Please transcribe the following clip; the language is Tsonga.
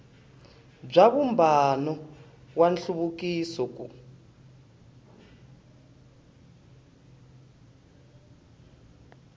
bya vumbano wa nhluvukiso ku